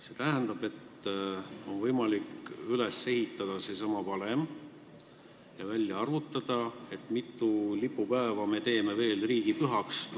See tähendab, et on võimalik valmis teha valem ja selle järgi välja arvutada, kui mitu lipupäeva me veel riigipühaks teeme.